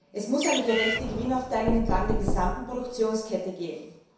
Es muss eine gerechte Gewinnaufteilung entlang der gesamten Produktionskette geben!